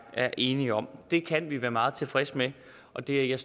er enige om det kan vi være meget tilfredse med og det er jeg